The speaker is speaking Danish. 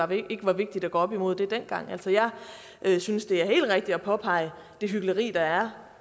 det ikke var vigtigt at gå op imod det dengang jeg synes det er helt rigtigt at påpege det hykleri der er